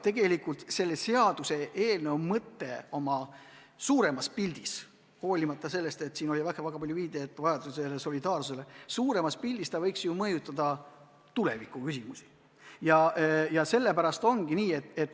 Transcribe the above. Tegelikult selle seaduseelnõu mõte on laiem, selles on väga palju viidatud solidaarsuse vajadusele ja suuremas pildis see võiks ju tulevikuküsimusi mõjutada.